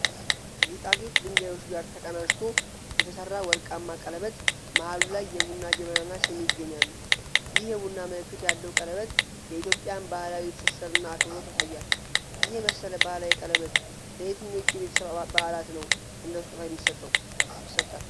ከጌጣጌጥ ድንጋዮች ጋር ተቀናጅቶ የተሰራ ወርቃማ ቀለበት መሃሉ ላይ የቡና ጀበናና ሲኒ ይገኛሉ። ይህ የቡና ምልክት ያለው ቀለበት የኢትዮጵያን ባህላዊ ትስስርና አክብሮት ያሳያል። ይህ የመሰለ ባህላዊ ቀለበት ለየትኞቹ የቤተሰብ በዓላት ላይ እንደ ስጦታ ይሰጣል?